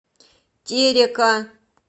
терека